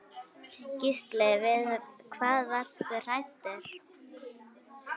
Gísli: Við hvað varstu hræddur?